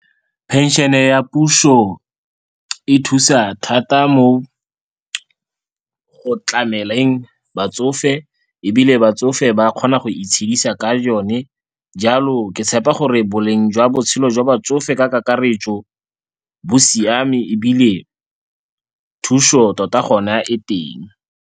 Phenšene ya puso e thusa thata mo go tlameleng batsofe ebile batsofe ba kgona go itshedisa ka yone. Jalo ke tshepa gore boleng jwa botshelo jwa batsofe ka kakaretso, bo siame ebile thuso tota gona e teng.